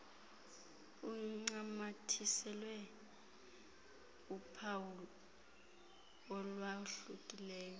uncamathisele uphawu olwahlukileyo